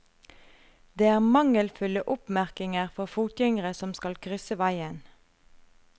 Det er mangelfulle oppmerkinger for fotgjengere som skal krysse veien.